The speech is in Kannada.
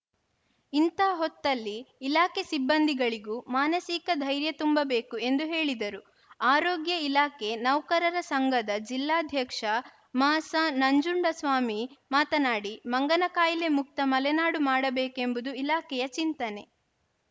ಇಂಥ ಹೊತ್ತಲ್ಲಿ ಇಲಾಖೆ ಸಿಬ್ಬಂದಿಗಳಿಗೂ ಮಾನಸಿಕ ಧೈರ್ಯ ತುಂಬಬೇಕು ಎಂದು ಹೇಳಿದರು ಆರೋಗ್ಯ ಇಲಾಖೆ ನೌಕರರ ಸಂಘದ ಜಿಲ್ಲಾಧ್ಯಕ್ಷ ಮಸ ನಂಜುಂಡಸ್ವಾಮಿ ಮಾತನಾಡಿ ಮಂಗನಕಾಯಿಲೆ ಮುಕ್ತ ಮಲೆನಾಡು ಮಾಡಬೇಕೆಂಬುದು ಇಲಾಖೆಯ ಚಿಂತನೆ